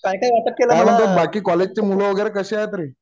काय म्हणतोस बाकी कॉलजची मुलं वगैरे कशी आहेत रे?